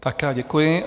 Tak já děkuji.